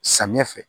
Samiyɛ fɛ